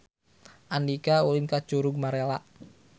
Andika ulin ka Curug Malela